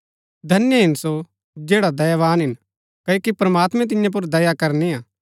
धन्य हिन सो जैडा दयावान हिन क्ओकि प्रमात्मैं तियां पुर दया करनिआ